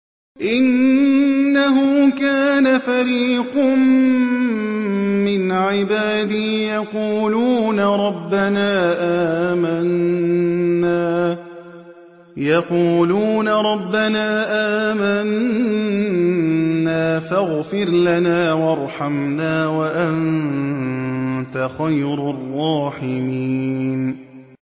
إِنَّهُ كَانَ فَرِيقٌ مِّنْ عِبَادِي يَقُولُونَ رَبَّنَا آمَنَّا فَاغْفِرْ لَنَا وَارْحَمْنَا وَأَنتَ خَيْرُ الرَّاحِمِينَ